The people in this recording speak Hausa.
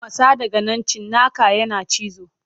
Matsa daga nan cinnakan yana cizo.